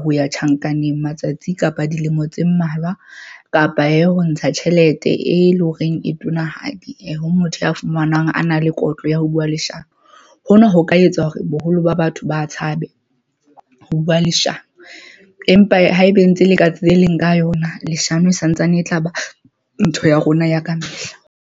ho ya tjhankaneng matsatsi kapa dilemo tse mmalwa kapa ya ho ntsha tjhelete e leng horeng e tonanahadi e ha motho a fumanwang, a nang le kotlo ya ho buwa leshano a hona ho ka etsa hore boholo ba batho ba tshabe ho buwa leshano, empa haebe e ntse e le ka tsela, e leng ka yona, leshano e santsane e tlaba ntho ya rona ya kamehla.